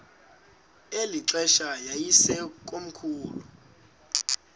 eli xesha yayisekomkhulu